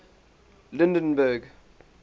lydenburg